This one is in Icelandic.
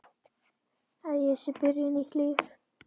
Að ég sé byrjuð nýtt líf.